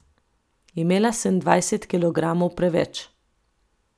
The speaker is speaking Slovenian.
Imela sem dvajset kilogramov preveč.